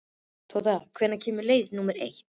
Tóta, hvenær kemur leið númer eitt?